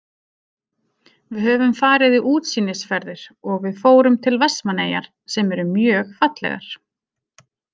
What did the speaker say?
Við höfum farið í útsýnisferðir og við fórum til Vestmannaeyjar sem eru mjög fallegar.